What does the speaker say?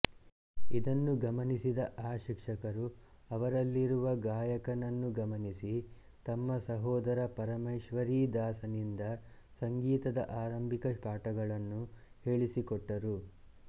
ಇದನ್ನು ಗಮನಿಸಿದ ಆ ಶಿಕ್ಷಕರು ಅವರಲ್ಲಿರುವ ಗಾಯಕನನ್ನು ಗಮನಿಸಿ ತಮ್ಮ ಸೋದರ ಪರಮೇಶ್ವರೀದಾಸನಿಂದ ಸಂಗೀತದ ಆರಂಭಿಕ ಪಾಠಗಳನ್ನು ಹೇಳಿಸಿಕೊಟ್ಟರು